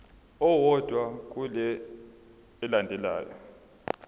owodwa kule elandelayo